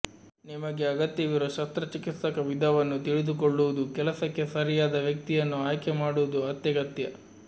ನಿಮಗೆ ಅಗತ್ಯವಿರುವ ಶಸ್ತ್ರಚಿಕಿತ್ಸಕ ವಿಧವನ್ನು ತಿಳಿದುಕೊಳ್ಳುವುದು ಕೆಲಸಕ್ಕೆ ಸರಿಯಾದ ವ್ಯಕ್ತಿಯನ್ನು ಆಯ್ಕೆಮಾಡುವುದು ಅತ್ಯಗತ್ಯ